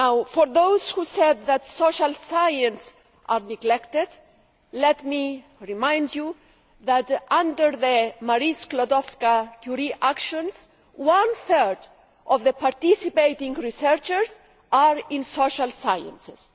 To those who said that social sciences are neglected, let me remind you that, under the Marie Skłodowska Curie Actions, one third of the participating researchers are in social sciences.